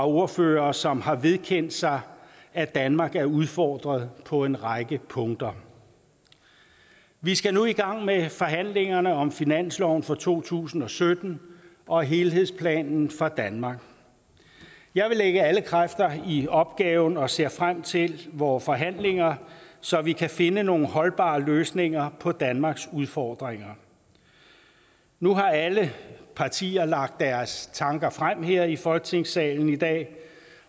ordførere som har vedkendt sig at danmark er udfordret på en række punkter vi skal nu i gang med forhandlingerne om finansloven for to tusind og sytten og helhedsplanen for danmark jeg vil lægge alle kræfter i opgaven og ser frem til vore forhandlinger så vi kan finde nogle holdbare løsninger på danmarks udfordringer nu har alle partier lagt deres tanker frem her i folketingssalen i dag